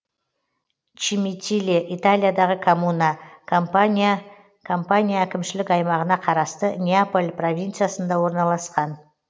чимитиле италиядағы коммуна кампания кампания әкімшілік аймағына қарасты неаполь провинциясында орналасқан